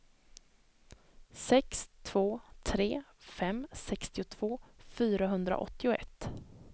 sex två tre fem sextiotvå fyrahundraåttioett